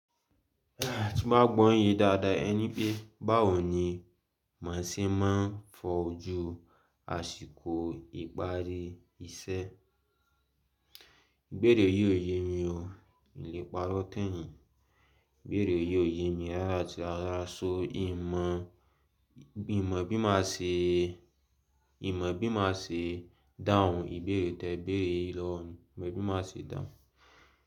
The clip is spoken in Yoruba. Tí mo bá gbọ́ yín ye dáadáa, ẹ ní pé báwo ni mo ṣe máa ń fojú àsìkò ìparí iṣẹ́? Ìbéèrè yìí ò yé mi o. Mi ò ní parọ́ tàn yín. Ìbéèrè yìí ò ye mi rárá àti rara so n mọ bí máa ṣe, n mọ bí máa ṣe dáhùn ìbéèrè tí ẹ béèrè yìí lọ́wọ́ mi ìmọ̀ bí má ṣe dáhùn.